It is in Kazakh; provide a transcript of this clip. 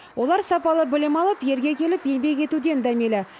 олар сапалы білім алып елге келіп еңбек етуден дәмелі